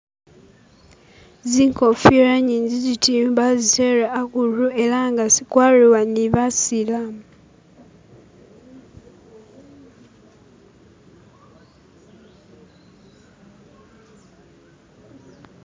Zinkofira nyingiziti bazitere hakundu eranga zikwariwa ni basilamu